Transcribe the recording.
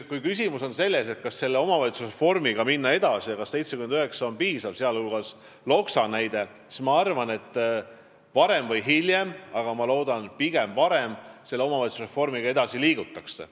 Kui küsimus on selles, kas omavalitsusreformiga edasi minna ja kas 79 on piisav , siis ma arvan, et varem või hiljem – ma loodan, et pigem varem – selle omavalitsuse reformiga edasi liigutakse.